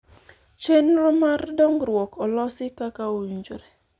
chenro mar dongruok olosi kaka owinjore